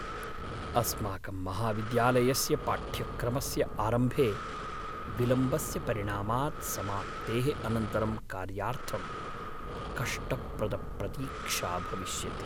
अस्माकं महाविद्यालयस्य पाठ्यक्रमस्य आरम्भे विलम्बस्य परिणामात् समाप्तेः अनन्तरं कार्यार्थं कष्टप्रदप्रतीक्षा भविष्यति।